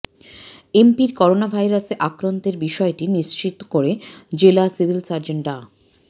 এমপির করোনাভাইরাসে আক্রান্তের বিষয়টি নিশ্চিত করে জেলা সিভিল সার্জন ডা